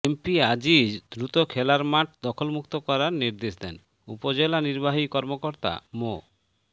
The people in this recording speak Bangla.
এমপি আজিজ দ্রুত খেলার মাঠ দখলমুক্ত করার নির্দেশ দেন উপজেলা নির্বাহী কর্মকর্তা মো